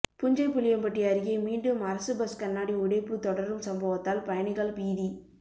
புஞ்சைபுளியம்பட்டி அருகே மீண்டும் அரசு பஸ் கண்ணாடி உடைப்பு தொடரும் சம்பவத்தால் பயணிகள் பீதி